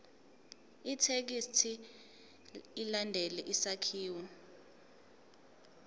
ithekisthi ilandele isakhiwo